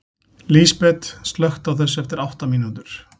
Lísbet, slökktu á þessu eftir átta mínútur.